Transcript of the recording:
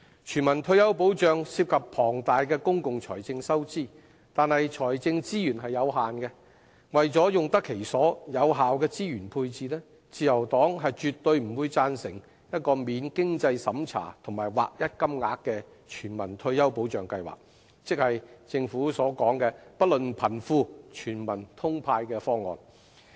全民退休保障涉及龐大的公共財政收支，但財政資源有限，為用得其所，有效地進行資源配置，自由黨絕不贊成免經濟審查及劃一金額的全民退休保障計劃，即不論貧富，全民"通派"的方案。